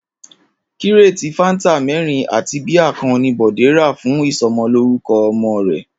Kíréètì fáńtà mé̩rin àti bíà kan ni Bò̩dé rà fún ìso̩mo̩lórúko̩ o̩mo̩ rè̩